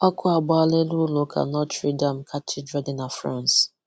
Ọkụ agbaala elu ụlọ ụka Notre Dame Katidral dị na France.